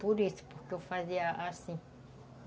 Por isso, porque eu fazia assim.